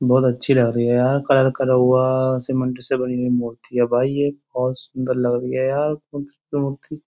बहुत अच्छी लग रही है यार कलर करा हुवा सीमेंट से बनी हुई मूर्ति है भाई ये। बोहोत सुंदर लग रही है यार --